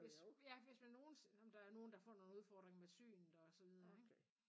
Hvis ja hvis man nogen nåh men det er nogen der får nogle udfordringer med synet og så videre ikke